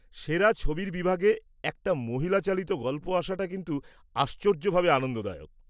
সেরা ছবির বিভাগে একটা মহিলা চালিত গল্প আসাটা কিন্তু আশ্চর্যভাবে আনন্দদায়ক।